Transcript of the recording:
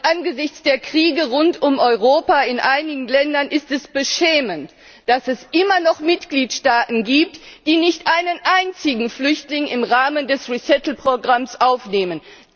Angesichts der Kriege rund um Europa in einigen Ländern ist es beschämend, dass es immer noch Mitgliedstaaten gibt, die nicht einen einzigen Flüchtling im Rahmen des Neuansiedlungsprogramms aufnehmen.